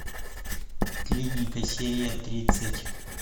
клиника серия тридцать